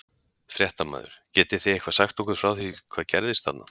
Fréttamaður: Getið þið eitthvað sagt okkur frá því hvað gerðist þarna?